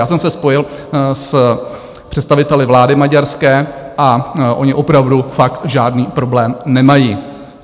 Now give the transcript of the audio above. Já jsem se spojil s představiteli vlády maďarské a oni opravdu fakt žádný problém nemají.